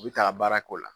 U bɛ taa baara k'o la